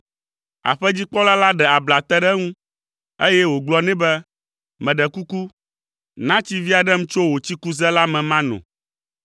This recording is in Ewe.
Aƒedzikpɔla la ɖe abla te ɖe eŋu, eye wògblɔ nɛ be, “Meɖe kuku, na tsi vi aɖem tso wò tsikuze la me mano.”